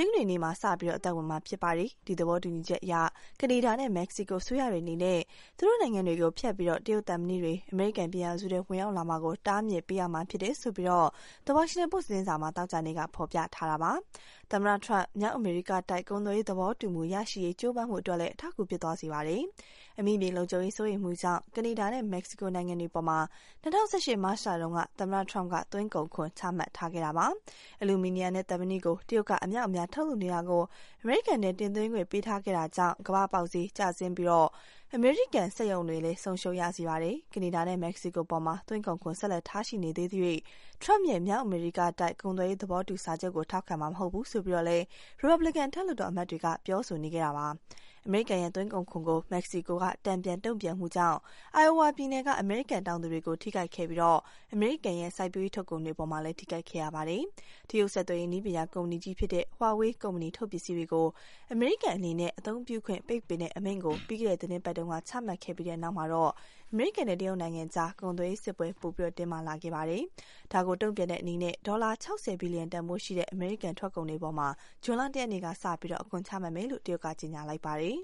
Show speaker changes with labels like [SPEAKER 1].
[SPEAKER 1] င်္ဂနွေနေ့မှာ စတင်အသက်ဝင်မှာ ဖြစ်ပါတယ်။ ဒီသဘောတူညီချက်အရ ကနေဒါနဲ့ မက္ကဆီကို အစိုးရတွေအနေနဲ့ သူတို့နိုင်ငံတွေကို ဖြတ်ပြီး တရုတ်သံမဏိတွေ အမေရိကန်ပြည်ထောင်စုထဲ ဝင်ရောက်လာမှာကို တားမြစ်ပေးရမှာ ဖြစ်ကြောင်း The Washington Post သတင်းစာမှာ သောကြာနေ့က ဖော်ပြထားပါတယ်။ သမ္မတ Trump မြောက်အမေရိကတိုက် ကုန်သွယ်ရေးသဘောတူမှုရရှိရေး ကြိုးပမ်းမှုအတွက်လည်း အထောက်အကူ ဖြစ်သွားစေပါတယ်။ အမိမြေလုံခြုံရေးစိုးရိမ်မှုကြောင့် ကနေဒါနဲ့ မက္ကဆီကိုနိုင်ငံတွေအပေါ် ၂၀၁၈ မတ်လမှာ သမ္မတ Trump က သွင်းကုန်ခွန်ချမှတ်လိုက်တာပါ။ အလူမီနီယံနဲ့ သံမဏိကို တရုတ်က အမြောက်အမြားထုတ်လုပ်နေတာကို အမေရိကန်ထဲ တင်သွင်းခွင့်ပေးထားခဲ့တာကြောင့် ကမ္ဘာ့ပေါက်ဈေးကျဆင်းစေပြီး အမေရိကန်စက်ရုံတွေ ဆုံးရှုံးရစေပါတယ်။ ကနေဒါနဲ့ မက္ကဆီကိုအပေါ် သွင်းကုန်ခွန် ဆက်လက်ထားရှိနေသေးသရွေ့ Trump ရဲ့ မြောက်အမေရိကားတိုက် ကုန်သွယ်ရေးသဘောတူစာချုပ်ကို ထောက်ခံမှာ မဟုတ်ကြောင်း ရီပါဘလစ်ကန် အထက်လွှတ်တော်အမတ်တချို့က ပြောဆိုနေတာပါ။ အမေရိကန်ရဲ့ သွင်းကုန်ခွန်ကို မက္ကဆီကိုက တန်ပြန်တုန့်ပြန်မှုကြောင့် Iowa ပြည်နယ်က အမေရိကန်တောင်သူတွေကို ထိခိုက်ခဲ့ပြီး အမေရိကန်ရဲ့ စိုက်ပျိုးရေးထုတ်ကုန်တွေအပေါ်မှာလည်း ထိခိုက်ခဲ့ပါတယ်။ တရုတ်ဆက်သွယ်ရေး နည်းပညာကုမ္ပဏီကြီးဖြစ်တဲ့ Huawei ကုမ္ပဏီထုတ်ပစ္စည်းကို အမေရိကန်အနေနဲ့ အသုံးပြုခွင့် ပိတ်ပင်တဲ့ အမိန့်ကို ပြီးခဲ့တဲ့သီတင်းပတ်တုန်းက ချမှတ်ခဲ့ပြီးတဲ့နောက် အမေရိကန်နဲ့ တရုတ်ကြား ကုန်သွယ်ရေးစစ်ပွဲ ပိုပြီး တင်းမာလာခဲ့ပါတယ်။ ဒါကို တုန့်ပြန်တဲ့အနေနဲ့ ဒေါ်လာ ၆၀ ဘီလျံတန်ဖိုးရှိတဲ့ အမေရိကန်ထွက်ကုန်တွေအပေါ် ဇွန်လ ၁ ရက်နေ့ကစပြီး အခွန်ချမယ်လို့ တရုတ်က ကြေညာလိုက်ပါတယ်။